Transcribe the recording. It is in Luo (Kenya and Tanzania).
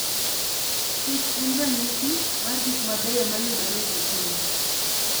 kich en ranyisi mar gik mabeyo mayudore e piny.